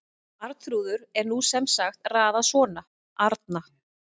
Arnþrúður en nú er sem sagt raðað svona: Arna